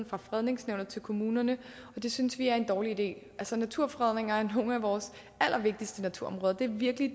fra fredningsnævnet til kommunerne og det synes vi er en dårlig idé naturfredning af nogle af vores allervigtigste naturområder er virkelig